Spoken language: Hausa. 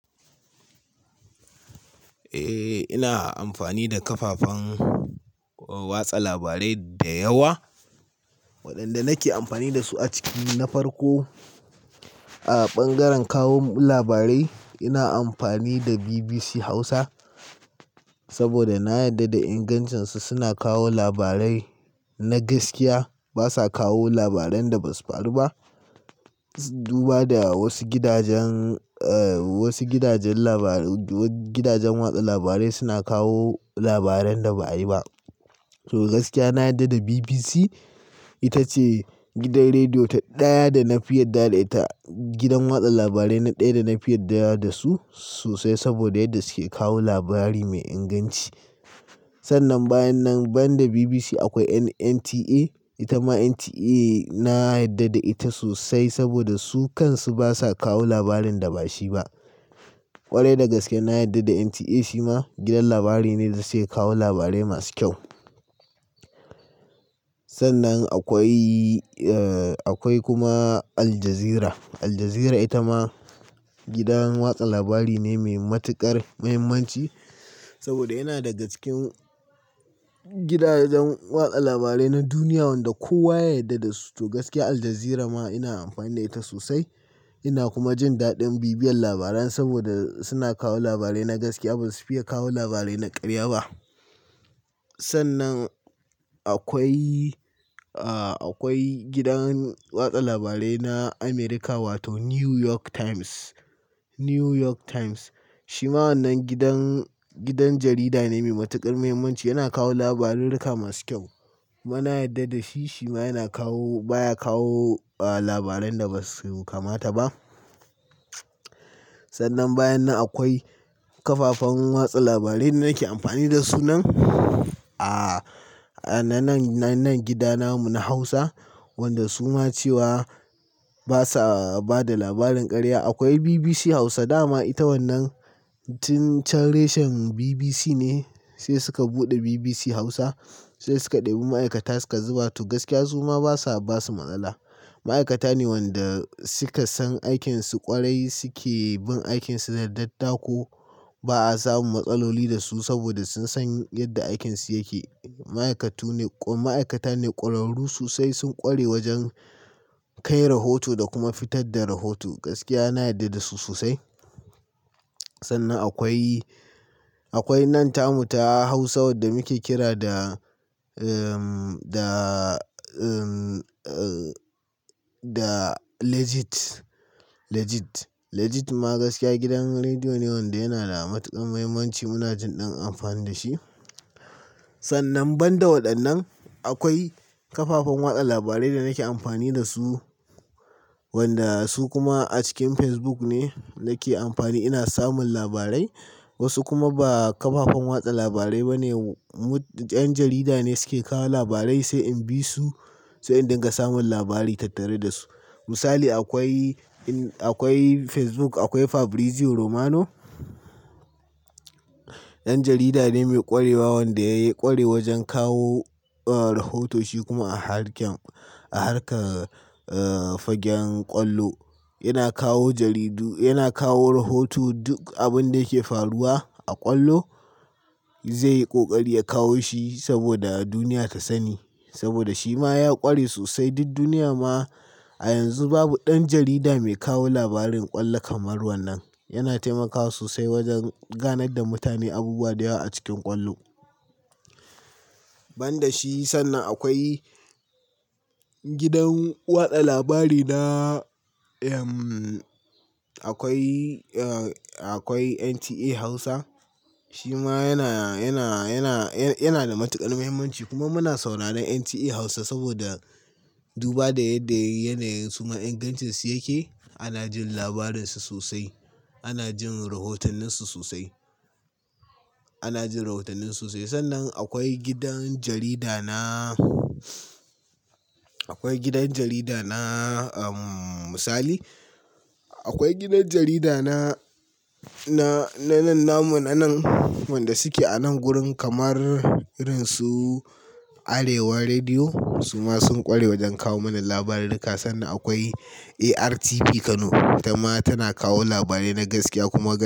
Eh, ina amfani da kafafen watsa labarai da yawa waɗanda nake amfani da su a ciki na farko. A bangaren kawo labarai ina amfani da BBC Hausa saboda na yarda da ingancinsu. Suna kawo labarai na gaskiya. Basa kawo labaran da basu faru ba. Duba da wasu gidajen, wasu gidajen labarai, gidajen watsa labarai suna kawo labaran da ba a yi ba. To gaskiya na yarda da BBC ita ce gidan rediyo ta ɗaya da na fi yarda da ita. Gidan watsa labarai na ɗaya da na fi yarda da su sosai saboda yadda suke kawo labari mai inganci. Sannan bayan nan, bayan da BBC akwai NTA. Ita ma NTA na yarda da ita sosai saboda su kan su basa kawo labarin da ba shi ba. Kwarai da gaske na yarda da NTA shi ma gidan labari ne da suke kawo labarai masu kyau. Sannan akwai, akwai kuma Al Jazeera. Al Jazeera ita ma gidan watsa labari ne mai matukar muhimmanci saboda yana daga cikin gidajen watsa labarai na duniya wanda kowa ya yarda da su. To gaskiya Al Jazeera ma ina amfani da ita sosai. Ina kuma jin daɗin bibiyar labaran saboda suna kawo labarai na gaskiya. Bazasu fiye kawo labarai na ƙarya ba. Sannan akwai, akwai gidan watsa labarai na Amerika wato New York Times. New York Times shi ma wannan gidan, gidan jarida ne mai matukar muhimmanci. Yana kawo labarurruka masu kyau. Kuma nayarda da shi. Shi ma yana kawo, baya kawo labaran da basu kamata ba. Sannan bayan nan akwai kafafen watsa labarai da nake amfani da su nan a nan, nan gida namu na Hausa wanda su ma cewa basa bada labarin ƙarya. Akwai BBC Hausa, dama ita wannan tun can, reshen BBC ne sai suka buɗe BBC Hausa. Sai suka ɗebi ma'aikata suka zuba. To gaskiya su ma basa basu matsala. Ma'aikata ne wanda suka san aikinsu ƙwarai suke bin aikinsu da dattako. Ba'a samu matsaloli da su saboda sun san yadda aikinsu yake. Ma'aikatu ne, ma'aikata ne ƙwararru sosai. Sun ƙware wajen kai rahoto da kuma fitar da rahoto. Gaskiya na yarda da su sosai. Sannan akwai, akwai nan tamu ta Hausa wadda muke kira da, da, da Legit. Legit. Legit ma gaskiya gidan rediyo ne wanda yana da matuƙar muhimmanci. Muna jin ɗan amfani da shi. Sannan banda waɗannan akwai kafafen watsa labarai da nake amfani da su wanda su kuma a cikin Facebook ne nake amfani. Ina samun labarai. Wasu kuma ba kafafen watsa labarai ba ne. Mut ƴan jarida ne suke kawo labarai sai in bi su sai in dinga samun labari tattare da su. Misali akwai, akwai Facebook. Akwai Fabrizio Romano. Ɗan jarida ne mai ƙwarewa wanda ya yi ƙware wajen kawo rahotoci kuma a harkar, a harkar fagen ƙwallo. Yana kawo jaridu, yana kawo rahoto. Duk abin da yake faruwa a ƙwallo zai yi ƙoƙari ya kawo shi saboda duniya ta sani saboda shi ma ya ƙware sosai. Duk duniya ma a yanzu babu ɗan jarida mai kawo labarin ƙwallo kamar wannan. Yana taimakawa sosai wajen ganar da mutane abubuwa da yawa a cikin ƙwallo. Banda shi sannan akwai gidan watsa labari na, akwai, akwai NTA Hausa. Shi ma yana, yana, yana, yana da matuƙar muhimmanci kuma muna sauraron NTA Hausa saboda duba da yadda yanayin su ma ingancinsu yake. Ana jin labarinsu sosai. Ana jin rahotanninsu sosai. Ana jin rahotanninsu sosai. Sannan akwai gidan jarida na, akwai gidan jarida na misali. Akwai gidan jarida na, na, na nan namu nan wanda suke a nan gurin kamar irinsu Arewa Rediyo. Su ma sun ƙware wajen kawo mana labarurruka sannan akwai ARTP Kano. Ita ma tana kawo labarai na gaskiya kuma gas.